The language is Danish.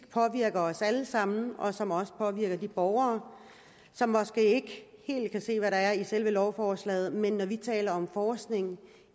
påvirker os alle sammen etisk og som også påvirker de borgere som måske ikke helt kan se hvad der er i selve lovforslaget men når vi taler om forskning